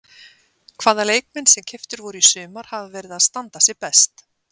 Hvaða leikmenn sem keyptir voru í sumar hafa verið að standa sig best?